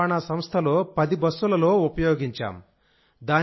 ప్రాంతీయ రవాణా సంస్థలో 10 బస్సులలో ఉపయోగించాం